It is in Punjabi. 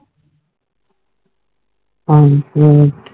ਹਾਂ ਜੀ ਹੋਰ